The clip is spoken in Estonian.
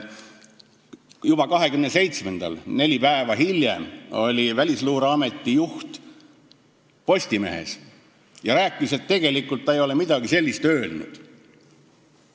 Juba 27-ndal, neli päeva hiljem, oli Välisluureameti juht Postimehes ja rääkis, et tegelikult ta ei ole midagi sellist öelnud.